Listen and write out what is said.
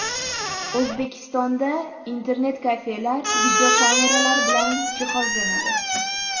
O‘zbekistonda internet-kafelar videokameralar bilan jihozlanadi.